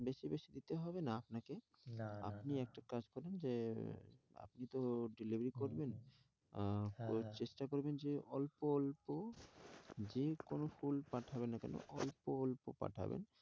যেতে হবে না আপনাকে আপনি একটা কাজ করুন যে আহ আপনি তো delivery করবেন আহ তো চেষ্টা করবেন যে অল্প, অল্প যে কোনও ফুল পাঠাবেন না কেন অল্প অল্প পাঠাবেন।